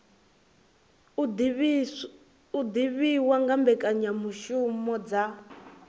u divhiwa nga mbekanyamishumo dza